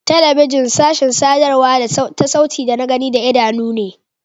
Telebijin sashin sadarwa ta sauti da na gani da idanu ne.